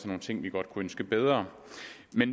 nogle ting vi godt kunne ønske bedre